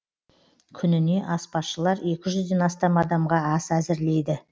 күніне аспазшылар екі жүзден астам адамға ас әзірлейді